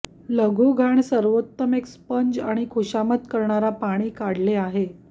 लघु घाण सर्वोत्तम एक स्पंज आणि खुशामत करणारा पाणी काढले आहे